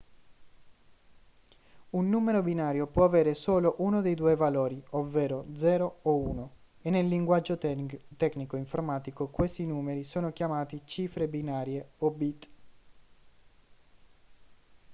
un numero binario può avere solo uno dei due valori ovvero 0 o 1 e nel linguaggio tecnico informatico questi numeri sono chiamati cifre binarie o bit